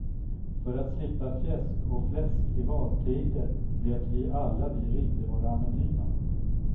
För att slippa fjäsk och fläsk i valtider lät vi alla vi ringde vara anonyma.